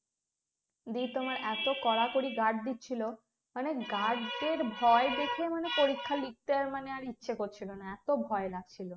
দি তোমার এতো কড়াকড়ি guard দিচ্ছিল মানে guard দের ভয় দেখিয়ে মানে পরীক্ষা লিখতে আর মানে ইচ্ছে করছিল না এতো ভয় লাগছিল